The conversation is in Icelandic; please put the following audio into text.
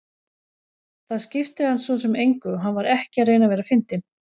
Það skipti hann svo sem engu og hann var ekki að reyna að vera fyndinn.